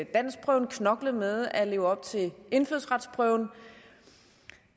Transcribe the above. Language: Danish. danskprøven knoklet med at leve op til indfødsretsprøven